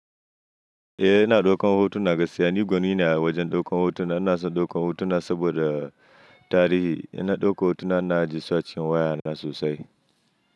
Eh ina ɗaukan hotuna, gaskiya ni gwani ne a wajen ɗaukan hotuna. Ina son ɗaukan hotuna saboda tarihi. In na ɗaukan hotuna ina ajiye su acikin wayana sosai.